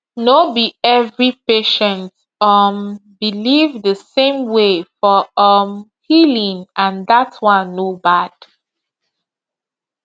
no be every patient um believe the same way for um healing and that one no bad